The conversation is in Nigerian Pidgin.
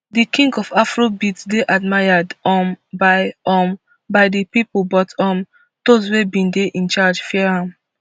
di king of afrobeat dey admired um by um by di pipo but um dose wey bin dey in charge fear am